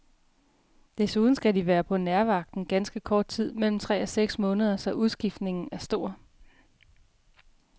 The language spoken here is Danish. Desuden skal de være på nærvagten ganske kort tid, mellem tre og seks måneder, så udskiftningen er stor.